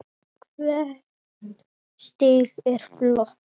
Hvert stig er flott.